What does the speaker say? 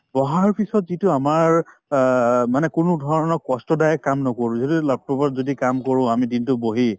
বহাৰ পিছত যিটো আমাৰ অ মানে কোনো ধৰণৰ কষ্টদায়ক কাম নকৰো যদি laptop ত যদি কাম কৰো আমি দিনতো বহি